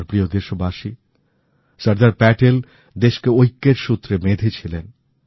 আমার প্রিয় দেশবাসী সর্দার প্যাটেল দেশকে ঐক্যের সূত্রে বেঁধেছিলেন